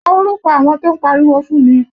Kọ orúkọ àwọn tó ń pariwo fún mi!